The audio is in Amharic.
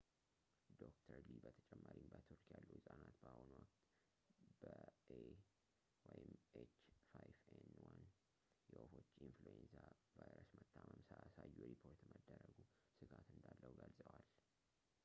ዶ/ር ሊ በተጨማሪም በቱርክ ያሉ ህጻናት በአሁኑ ወቅት በ ኤኤች 5 ኤን 1 የወፎች የኢንፍሉዌንዛ ቫይረስ መታመም ሳያሳዩ ሪፖርት መደረጉ ስጋት እንዳለው ገልጸዋል